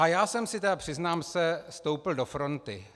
A já jsem si tedy, přiznám se, stoupl do fronty.